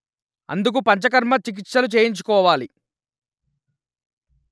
అందుకు పంచకర్మ చికిత్సలు చేయించుకోవాలి